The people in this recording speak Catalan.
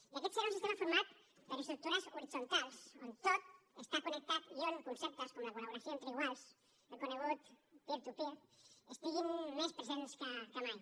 i aquest serà un sistema format per estructures horitzontals on tot està connectat i on conceptes com la col·laboració entre iguals el conegut peer to peer estiguin més presents que mai